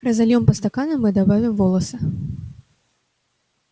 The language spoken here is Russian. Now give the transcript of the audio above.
разольём по стаканам и добавим волосы